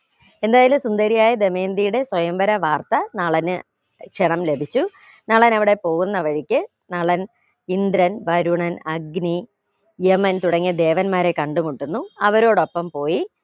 എന്തായാലും സുന്ദരിയായ ദമയന്തിയുടെ സ്വയം വര വാർത്ത നളന് ക്ഷണം ലഭിച്ചു നളൻ അവിടെ പോകുന്ന വഴിക്ക് നളൻ ഇന്ദ്രൻ വരുണൻ അഗ്നി യമൻ തുടങ്ങിയ ദേവന്മാരെ കണ്ടുമുട്ടുന്നു അവരോടൊപ്പം പോയി